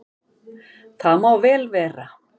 Það má vel vera að